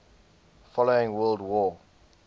following world war